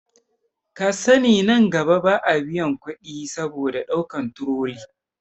Kasani nan gaba ba a biyan kuɗi saboda ɗaukan turoli